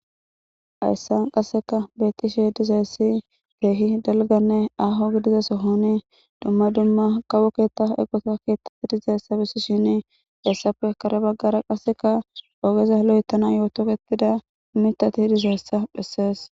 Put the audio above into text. hayssan qasseka beettishe dizayssi keehi dalganne aaho gidiza sohoni dumma dumma kawo keetta eqota keettati dizayssa bessishini hessafe kare baggara qasseka ogeza lo'etanayoo toketida mitati dizayssa bessees